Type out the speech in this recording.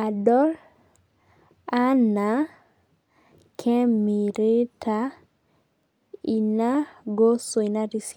adol anaa kemirita ina gosoi natii siadi.